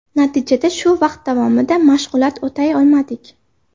Natijada shu vaqt davomida mashg‘ulot o‘tay olmadik.